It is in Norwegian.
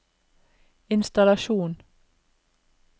innstallasjon